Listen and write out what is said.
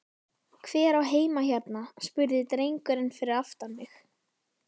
Hver á heima hérna? spurði drengurinn fyrir aftan mig?